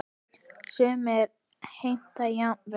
Sumir heimta jafnvel